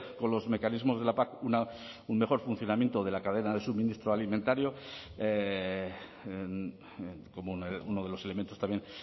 con los mecanismos de la pac un mejor funcionamiento de la cadena de suministro alimentario como uno de los elementos también